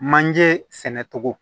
Manjee sɛnɛ cogo